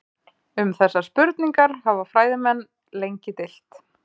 Um þessar spurningar hafa fræðimenn lengi deilt.